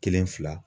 Kelen fila